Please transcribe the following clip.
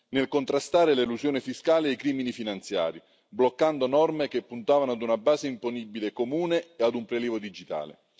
nel contrastare l'elusione fiscale e i crimini finanziari, bloccando norme che puntavano a una base imponibile comune e a un prelievo digitale.